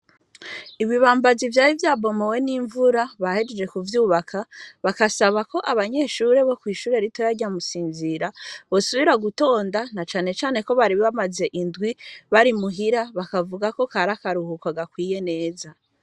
Ibibambazi vyari vyambomowe n'imvura bahejeje kuvyubaka ,bagasbako abanyeshure bo kw'ishure ritoya rya musinzira ko bosubira gutonda, na cane cane ko bari bamaze indwi bari muhira ,bakavuga ko kari akaruhuko gakwiye neza.